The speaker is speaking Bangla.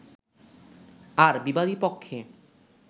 আর বিবাদী পক্ষে